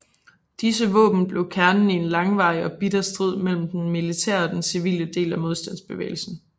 Disse våben blev kernen i en langvarig og bitter strid mellem den militære og den civile del af modstandsbevægelsen